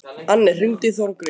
Anne, hringdu í Þórgrím.